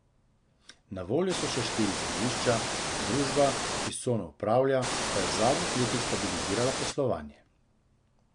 Na voljo so še štiri zemljišča, družba, ki s cono upravlja, pa je v zadnjih letih stabilizirala poslovanje.